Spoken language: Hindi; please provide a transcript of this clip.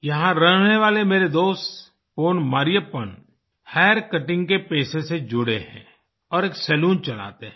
यहाँ रहने वाले मेरे दोस्त पोन मरियप्पन हैर कटिंग के पेशे से जुड़े हैं और एक सलून चलाते हैं